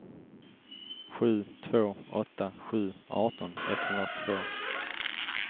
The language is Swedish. sju två åtta sju arton etthundratvå